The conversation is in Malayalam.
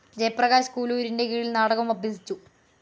ജയപ്രകാശ് കുലൂരിൻ്റെ കീഴിൽ നാടകം അഭ്യസിച്ചു.